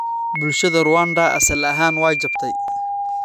Bulshada Rwanda asal ahaan way jabtay.